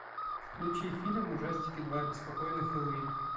включи фильм ужастики два беспокойный хэллоуин